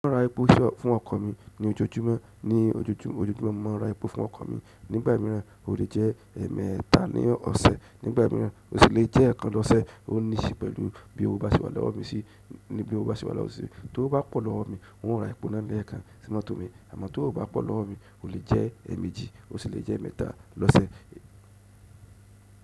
Mo ń ra epo fún ọkọ mi ní ojoojúmọ́, ní ojoojúmọ́ mo máa ń ra epo fún ọkọ mi. Nígbà mìíràn o lè jẹ́ ẹẹ́mẹta ní ọ̀sẹ̀, nígbà mìíràn o sì lè jẹ́ eekan lọ́sẹ̀ o ní si pẹ̀lú bí owo bá se wà lọ́wọ́ mi si, níbi o bá ti wà lọ́wọ́ mi si. Tówo bá pọ̀ lọ́wọ́ mi, n ó ra epo ná ni ekan sínú mọ̀to mi, àmọ́ ti owó o bá pọ̀ lọ́wọ́ mi, o lè jẹ́ ẹẹ́mejì, o sì lè jẹ́ eemẹ́ta lọ́sẹ̀.